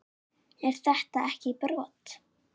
Er þetta ekki brot?